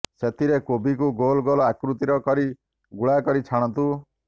ସେଥିରେ କୋବିକୁ ଗୋଲ ଗୋଲ ଆକୃତିର କରି ଗୁଳାକରି ଛାଣନ୍ତୁ